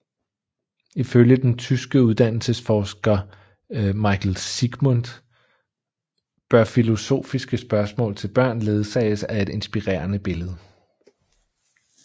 Ifølge den tyske uddannelsesforsker Michael Siegmund bør filosofiske spørgsmål til børn ledsages af et inspirerende billede